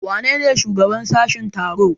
Wanene shugaban sashen tsaro?